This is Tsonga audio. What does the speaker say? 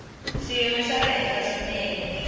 xiyimo xa le henhla swinene